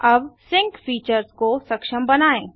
अब sync features को सक्षम बनाएँ